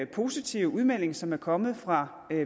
positive udmelding som er kommet fra